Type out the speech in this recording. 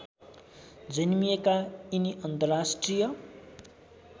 जन्मिएका यिनी अन्तर्राष्ट्रिय